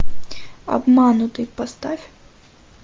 обманутый поставь